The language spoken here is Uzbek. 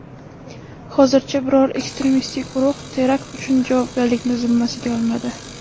Hozircha biror ekstremistik guruh terakt uchun javobgarlikni zimmasiga olmadi.